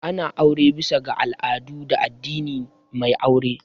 Ana aure bisa ga al'adu da addinin mai aure